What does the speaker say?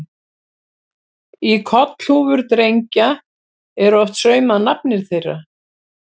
Í kollhúfur drengja er oft saumað nafnið þeirra.